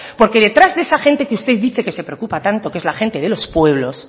porque detrás de esa gente que usted dice que se preocupa tanto que es la gente de los pueblos